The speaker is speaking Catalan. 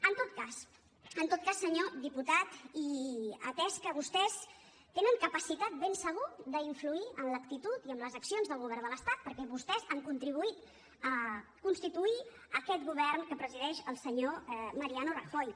en tot cas senyor diputat i atès que vostès tenen capacitat ben segur d’influir en l’actitud i en les accions del govern de l’estat perquè vostès han contribuït a constituir aquest govern que presideix el senyor mariano rajoy